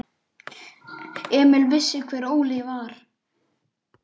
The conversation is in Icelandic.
Emil vissi hver Óli var.